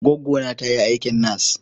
Gwaggona ta yi aikin nas.